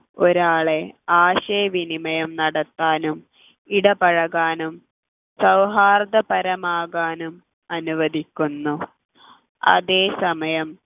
ഒരാളെ ആശയവിനിമയം നടത്താനും ഇടപഴകാനും സൗഹാർദ്ദപരമാകാനും അനുവദിക്കുന്നു അതേസമയം